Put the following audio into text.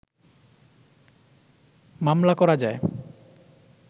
মামলা করা যায়